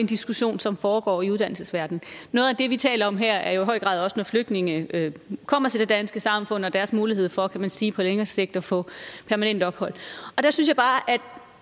diskussion som foregår i uddannelsesverdenen noget af det vi taler om her er jo i høj grad også flygtninge der kommer til det danske samfund og deres mulighed for kan man sige på længere sigt at få permanent ophold der synes